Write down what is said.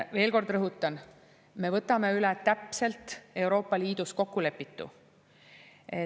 Veel kord rõhutan, me võtame üle täpselt Euroopa Liidus kokkulepitu.